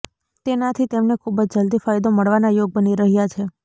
તેનાથી તેમને ખૂબ જ જલ્દી ફાયદો મળવાના યોગ બની રહ્યા છે